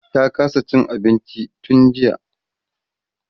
ta kasa Cin abinci tun jiya